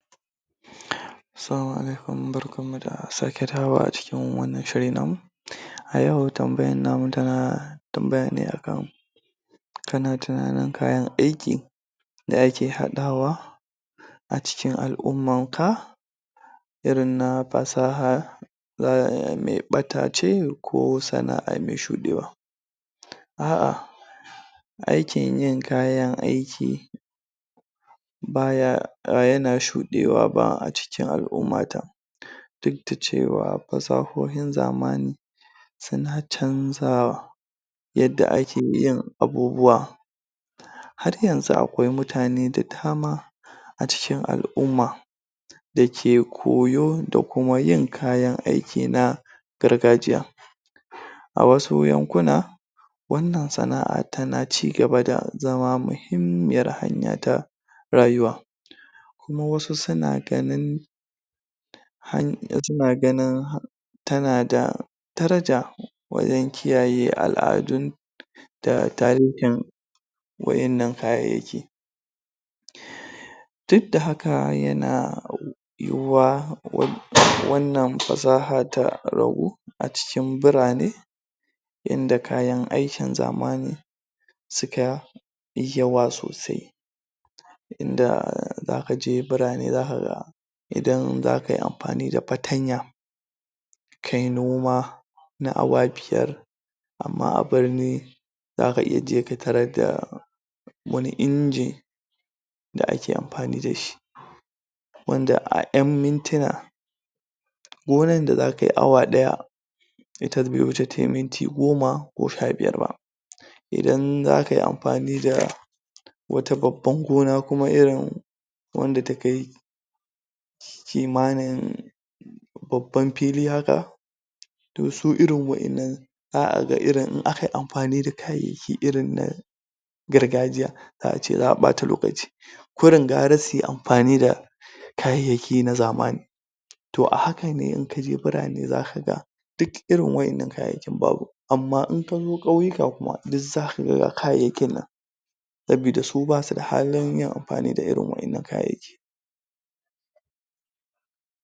Assalamu Alaikum, Barkan mu da sake dawowa a wannan shiri namu a yau tambayan namu tana tambaya ne a kan kana tunanin kayan aiki da ake haɗawa a cikin al'ummanka irin na fasaha um mai ɓata ce ko sana'a mai shuɗewa a'a aikin yin kayan aiki baya yana shuɗewa ba a cikin al'ummata duk da cewa fasahohin zamani suna canzawa yadda ake yin abubuwa har yanzu akwai mutane da dama a cikin al'umma da ke koyi da kuma yin kayan aiki na gargajiya a wasu yankuna wannan sana'a tana cigaba da zama mahimmiyar hanya ta rayuwa kuma wasu suna ganin suna ganin tana da daraja wajen kiyaye al'adun da wa'innan kayayyaki duk da haka yana yiwuwa?? wannan fasaha ta rago a cikin birane yanda kayan aikin zamani suka yawa sosai inda zaka je birane zaka ga idan zaka yi amfani da fatanya kayi noma na awa biyar amma birni zaka iya je ka tarar da wani inji da ake amfani da shi wanda a ƴan mintuna gonan da zaka yi awa ɗaya ita bai wuce tayi minti goma ko sha biyar ba idan aka yi amfani da wata babban gona kuma irin wanda ta kai kimanin babban fili haka to su irin wa'innan zaka ga irin in aka yi amfani da kayayyaki irin na gargajiya za ace an ɓata lokaci kurin gara su yi amfani da kayayyaki na zamani to a haka ne in kaje birane zaka ga duk irin wa'innan kayayyakin babu amma in ka zo ƙauyuka kuma zaka ga ga kayayyakin nan saboda su bane da halin yin amfani da irin wa'innan kayan aiki